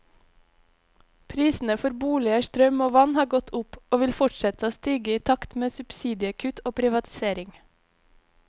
Prisene for boliger, strøm og vann har gått opp, og vil fortsette å stige i takt med subsidiekutt og privatisering.